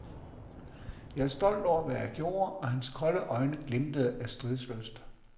Jeg er stolt over, hvad jeg gjorde, og hans kolde øjne glimtede af stridslyst.